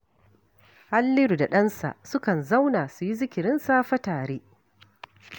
Halliru da ɗansa sukan zauna, su yi zikirin safe tare